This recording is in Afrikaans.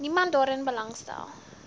niemand daarin belangstel